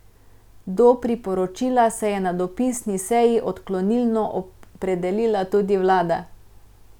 Do priporočila se je na dopisni seji odklonilno opredelila tudi vlada.